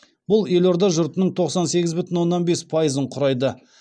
бұл елорда жұртының тоқсан сегіз бүтін оннан бес пайызын құрайды